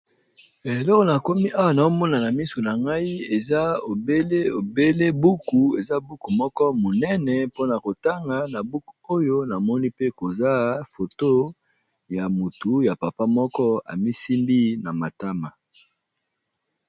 Eloko na komi awa na omona na misu na ngai eza obele buku eza buku moko monene mpona kotanga na buku oyo namoni pe koza foto ya motu ya papa moko amisimbi na matama.